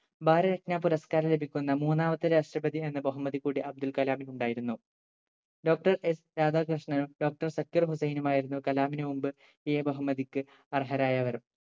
ഭാരതരത്‌ന പുരസ്ക്കാരം ലഭിക്കുന്ന മൂന്നാമത്തെ രാഷ്‌ട്രപതി എന്ന ബഹുമതി കൂടി അബ്ദുൾകലാമിന് ഉണ്ടായിരുന്നു doctorS രാധാകൃഷ്ണനും doctor സക്കീർ ഹുസൈനുമായിരുന്നു കലാമിനു മുമ്പ് ഈ ബഹുമതിക്ക് അർഹരായായവർ